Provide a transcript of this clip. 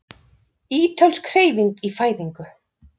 Ítölsk Hreyfing í fæðingu